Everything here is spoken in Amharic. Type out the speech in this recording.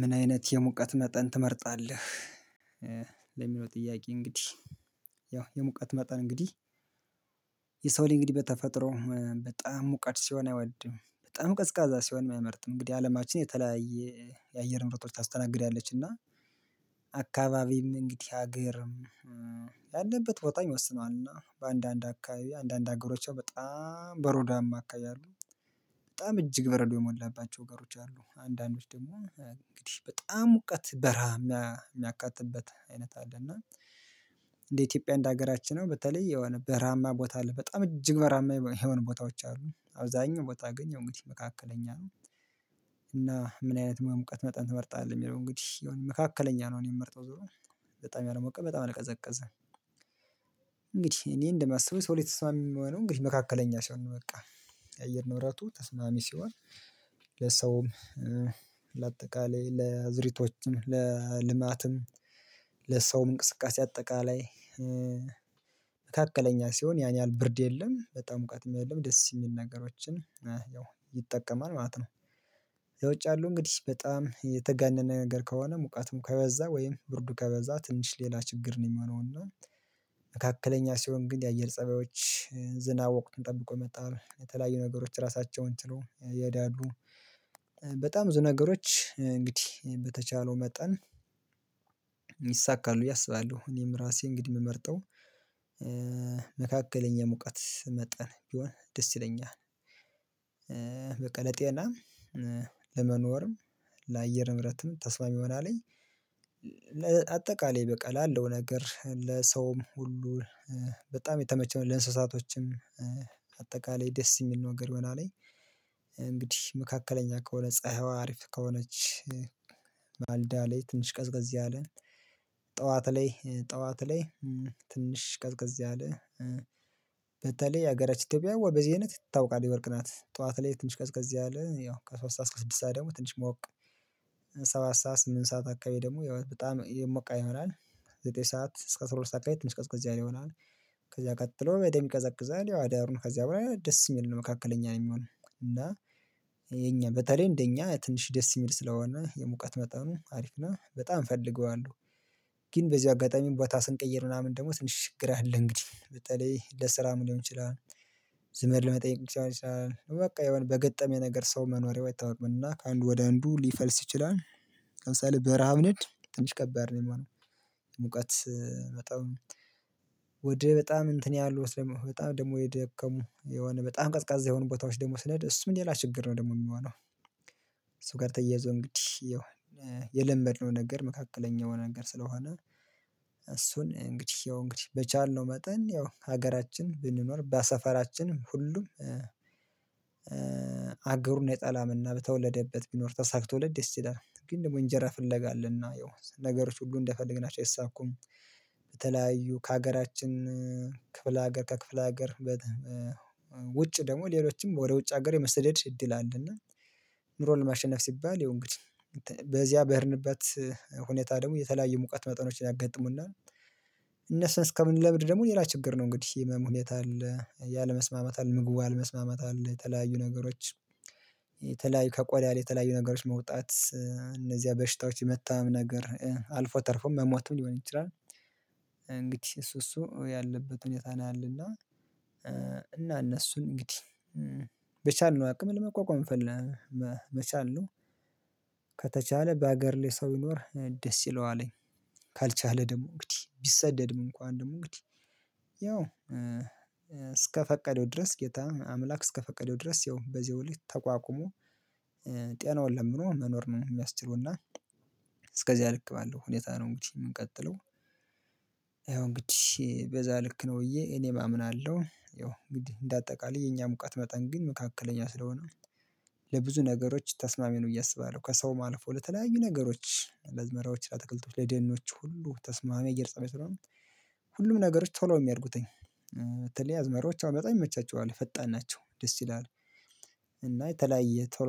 ምን አይነት የሙቀት መጠን ትመርጣለህ? ለሚለው ጥያቄ እንግዲህ። ያው የሙቀት መጠን እንግዲህ። የሰው ልጅ እንግዲህ በተፈጥሮ በጣም ሙቀት ሲሆን አይወድም በጣም ቀዝቃዛ ሲሆን አይመርጥም እንግዲህ አለማችን የተለያየ የአየር ምርጥ ታስተናግዳለች። እና አካባቢም እንግዲህ ሀገርም ያለበት ቦታ ይወስኗልና በአንዳንድ አካባቢ አንዳንድ ሀገሮች በጣም በሮዷማ አማካይ አሉ። በጣም እጅግ በረዶ የሞላባቸው አገሮች አሉ። አንዳንዶች ደግሞ እንግዲህ በጣም ሙቀት በረሃ የሚያጋጥሟቸው አይነት አለ። እና እንደ ኢትዮጵያ እንደ ሀገራችን ነው በተለይ የሆነ በራማ ቦታ አለ በጣም እጅግ በራማ የሆኑ ቦታዎች አሉ አብዛኛው ቦታ ግን የሆነ መካከለኛ ነው። እና ምን አይነት ሙቀት መጠን ትመርጣለህ የሚለው እንግዲህ የሆነ መካከለኛ ነው። እኔ የምመርጠው ዞሮ ዙሩ በጣም ያለመውቀን በጣም ለቀዘቀዘን። እንግዲህ እኔ እንደማስበው ሰው ተስማሚ የምሆነው እንግዲህ መካከለኛ ሲሆን ነው በቃ የአየር ንበራቱ ተስማሚ ሲሆን። ለሰውም ለአጠቃላይ ለአዝሪቶችም ለልማትም ለሰውም እንቅስቃሴ አጠቃላይ። መካከለኛ ሲሆን ያን ያህል ብርድ የለም በጣም እውቀትም የለም ደስ የሚናገራችን ያው ይጠቀማል ማለት ነው። ለውጭ ያለው እንግዲህ በጣም የተጋነነ ነገር ከሆነ ሙቃቱም ከበዛ ወይም ብርዱ ከበዛ ትንሽ ሌላ ችግር ነው የሚሆነው። እና መካከለኛ ሲሆን ግን የአየር ፀባዮች ዝናብ ወቅትን ጠብቆ የመጣው የተለያዩ ነገሮች ራሳቸውን ችለው ይሄዳሉ። በጣም ብዙ ነገሮች እንግዲህ በተቻለው መጠን ይይሳካሉ ብዬ አስባለሁ። እኔም ራሴ እንግዲህ የምመርጠው መካከለኛ ሙቀት መጠን ቢሆን ደስ ይለኛል። በቃ ለጤና ለመኖርም ለአየር ንብረትም ተስፋ የሚሆን አለኝ። አጠቃላይ በቃ ላለው ነገር ለሰውም ሁሉ በጣም የተመቸውን ለእንስሳቶችም ደስ የሚል ነገር ይሆናል። እንግዲህ መካከለኛ ከሆነ ፀሀይዋ አሪፍ ከሆነች ባልዳ ላይ ትንሽ ቀዝቀዝ ያለ ጠዋት ላይ ጠዋት ላይ ትንሽ ቀዝቀዝ ያለ በተለይ የሀገራችን ኢትዮጵያ ወይ በዚህ አይነት ትታወቃለች ወርቅ ናት ጠዋት ላይ ትንሽ ቀዝቀዝ ያለ ያው ከሰአት ሰዓት እስከ ስድስት ሰዓት ደግሞ ትንሽ ሞቅ ሰባ ሰዓት ስምንት ሰዓት አካባቢ ደግሞ ያው በጣም የሞቀ ይሆናል። ዘጠኝ ሰዓት እስከ አስራ ሁለት አቅም እስከ አስራ ስድስት አቅም ይሆናል። ከዛ ቀጥሎ በደንብ ይቀዘቅዛል ያው አዳርን ከዚያ በኋላ ደስ ይል ነው መካከለኛ ነው የሚሆነው። እና የኛ በተለይ እንደኛ ትንሽ ደስ የሚል ስለሆነ የሙቀት መጣሁ አሪፍ ነው በጣም ፈልገዋለሁ። ግን በዚህ አጋጣሚ ቦታ ስንቀይር ምናምን ደግሞ ስንችግር አለ እንግዲህ በተለይ ለስራ ምን ሊሆን ይችላል? ዘመድ ለመጠየቅ ሊሆን ይችላል በቃ የሆነ በገጠመ ነገር ሰው መኖሪያው አይታወቅም እና ከአንዱ ወደ አንዱ ሊፈልስ ይችላል። ለምሳሌ በረሃ ንድ ትንሽ ከባድ ነው የማነው። ሙቀት በጣም ወደ በጣም እንትን ያሉት በጣም ደግሞ የደከሙ የሆነ በጣም ቀዝቃዛ የሆኑ ቦታዎች ደግሞ ስለ እሱ ሌላ ችግር ነው ደግሞ የሚሆነው። እሱ ጋር ተያይዘው እንግዲህ የለመድነው ነገር መካከለኛው ነገር ስለሆነ። እሱን እንግዲህ ያው እንግዲህ በቻልነው መጠን ያው ሀገራችን ብንኖር በሰፈራችንም ሁሉም አገሩን የጠላምና በተወለደበት ቢኖር ተሳክቶለት ተወለድ ደስ ይላል ግን ደግሞ እንጀራ ፍለጋ አለና ያው ነገሮች ሁሉ እንደፈለግናቸው አይሳኩም። በተለያዩ ከሀገራችን ክፍለ ሀገር ከክፍለ ሀገር ውጭ ደግሞ ሌሎችም ወደ ውጭ ሀገር የመሰደድ እድል አለና ኑሮን ለማሸነፍ ሲባል ይሁን እንግዲህ በዚያ በሄድንበት ሁኔታ ደግሞ የተለያየ ሙቀት መጠኖችን ያጋጥሙናል። እነሱን እስከምንለብድ ደግሞ ሌላ ችግር ነው እንግዲህ ህመም ሁኔታ አለ ያለመስማማታል ምግቡ አለመስማማት አለ የተለያዩ ነገሮች። ከቆዳ የተለያዩ ነገሮች መውጣት እነዚያ በሽታዎች የመጣም ነገር አልፎ ተርፎ መሞቱን ሊሆን ይችላል እንግዲህ እሱ እሱ ያለበት ሁኔታ ነው ያለና። እና እነሱን እንግዲህ በቻልነው አቅም ለመቋቋም መቻል ነው። ከተቻለ በሀገር ላይ ሰው ይኖር ደስ ይለዋለኝ። ካልቻለ ደግሞ እንግዲህ ቢሰደድም እንኳን ደግሞ እንግዲህ ያው እስከፈቀደው ድረስ ጌታ አምላክ እስከፈቀደው ድረስ ያው በዛ ሁሉ ተቋቁሞ ጤናውን ለምኖ መኖር ነው። የሚያስችለው እና እስከዚያ ልክ ባለው ሁኔታ ነው እንግዲህ የምንቀጥለው። ይሄን እንግዲ በዛ ልክ ነው ብዬ እኔ እማምን አለው ይሄው እንግዲህ እንደ አጠቃላይ የኛ ሙቀት መጠን ግን መካከለኛ ስለሆነ ለብዙ ነገሮች ተስማሚ ነው ብዬ አስባለሁ። ከሰው ማለፉ ለተለያዩ ነገሮች ለዝመራዎች ለተከልቶች ለደኖች ሁሉ ተስማሚ አየር ፀባይ ስለሆኑ። ሁሉም ነገሮች ቶሎ የሚያድጉትኝ ተለያዝ መሪዎች አመጣ ይመቻቸዋል ፈጣን ናቸው ደስ ይላል። እና የተለያየ ቶሎ